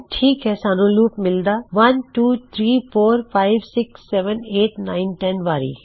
ਠੀਕ ਹੈ ਸਾਨੂੰ ਲੂਪ ਮਿਲਦਾ 12345678910 ਵਾਰੀ